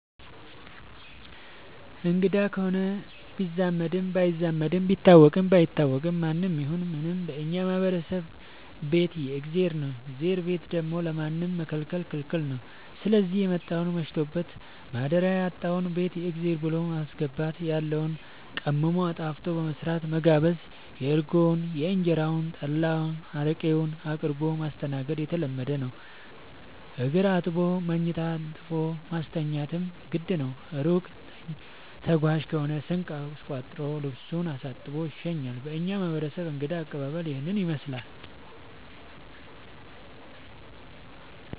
አንግዳ ከሆነ ቢዛመድም ባይዛመድም ቢታወቅም ባይታወቅም ማንም ይሁን ምንም በእኛ ማህበረሰብ ቤት የእግዜር ነው። የእግዜርን ቤት ደግሞ ለማንም መከልከል ክልክል ነው ስዚህ የመጣውን መሽቶበት ማደሪያ ያጣውን ቤት የእግዜር ብሎ በማስገባት ያለውን ቀምሞ አጣፍጦ በመስራት መጋበዝ እርጎውን እንጀራውን ጠላ አረቄውን አቅርቦ ማስተናገድ የተለመደ ነገር ነው። እግር አጥቦ መኝታ አንጥፎ ማስተኛትም ግድ ነው። እሩቅ ተጓዥ ከሆነ ስንቅ አስቋጥሮ ልሱን አሳጥቦ ይሸኛል። በእኛ ማህረሰብ እንግዳ አቀባሀል ይህንን ይመስላል።